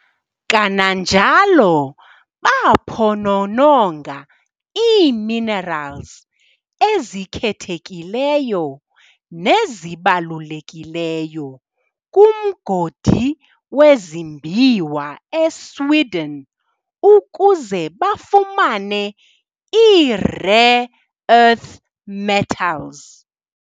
Kananjalo baaphonononga ii-minerals ezikhethekileyo nezibalulekileyo kumgodi wezimbiwa eSweden ukuze bafumane ii-rare earth metals.